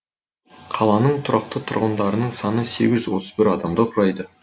қаланың тұрақты тұрғындарының саны сегіз жүз отыз бір адамды құрайды